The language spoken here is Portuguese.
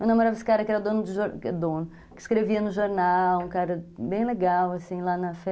Eu namorava esse cara que era dono de jornal, dono, que escrevia no jornal, um cara bem legal, assim, lá na fé.